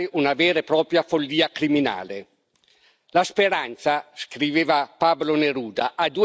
La speranza scriveva Pablo Neruda ha due figlie lo sdegno e il coraggio.